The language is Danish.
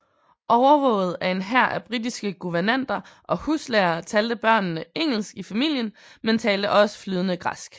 Overvåget af en hær af britiske guvernanter og huslærere talte børnene engelsk i familien men talte også flydende græsk